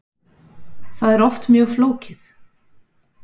Það er oft mjög flókið.